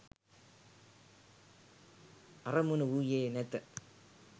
අරමුණ වූයේ නැත.